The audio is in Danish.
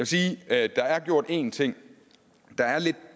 sige at der er gjort en ting